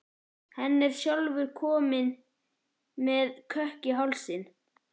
Hann er sjálfur kominn með kökk í hálsinn.